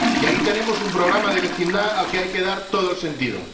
Y ahí tenemos un programa de vecindad al que hay que dar todo el sentido.